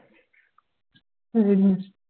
ਵੇਖਦਿ ਆਂ